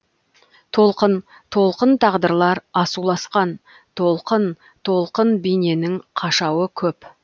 толқын толқын тағдырлар асауласқан толқын толқын бейненің қашауы көп